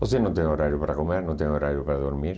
Você não tem horário para comer, não tem horário para dormir.